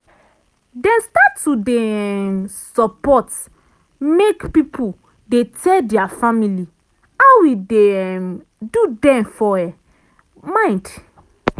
dem start to dey um support say make pipul dey tell dia family how e dey um do dem for um mind.